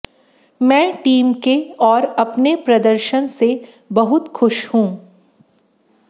मैं टीम के और अपने प्रदर्शन से बहुत खुश हूं